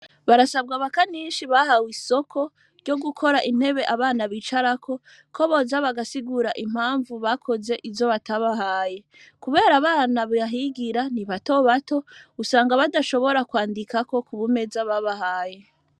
Barasabwa bakaninshi bahawe isoko ryo gukora intebe abana bicarako ko boza bagasigura impamvu bakoze izo batabahaye, kubera abana bahigira ni bato bato usanga badashobora kwandikako ku baumeza babahaye.